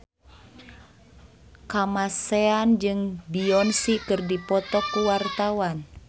Kamasean jeung Beyonce keur dipoto ku wartawan